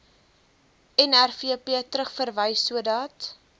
nrvp terugverwys sodat